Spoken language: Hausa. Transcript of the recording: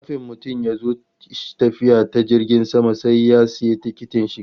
Kafin mutum ya zo tafiya ta jirgin sama sai ya sayi tikitin shiga